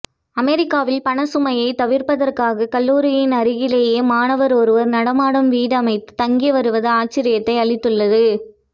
அமெரிக்காவில் பண சுமையை தவிர்ப்பதற்காக கல்லூரியின் அருகிலேயே மாணவர் ஒருவர் நடமாடும் வீடு அமைத்து தங்கி வருவது ஆச்சரியத்தை அளித்துள்ளது